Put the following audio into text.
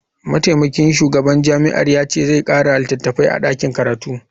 Mataimakin shugaban jami'ar ya ce zai kara litattafai a dakin karatu.